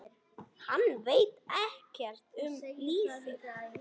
Hann veit ekkert um lífið.